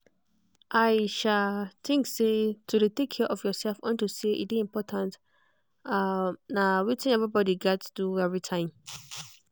i think say to dey take care of yourself unto say e dey important ah na wetin everybody gats do everytime